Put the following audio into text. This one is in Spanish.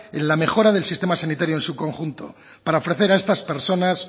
en la mejora del sistema sanitario en su conjunto para ofrecer a estas personas